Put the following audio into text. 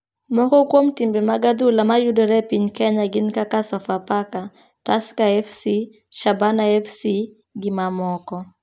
Moko kuom timbe mag adhula ma yudore e piny kenya gin kaka Sofafaka, Tukher fc,Shabana Fc gi mamoko